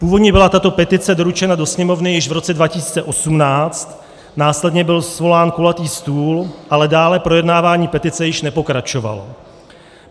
Původně byla tato petice doručena do Sněmovny již v roce 2018, následně byl svolán kulatý stůl, ale dále projednávání petice již nepokračovalo.